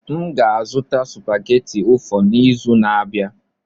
M ga-azụta supageti ụfọ n'izu na-abịa.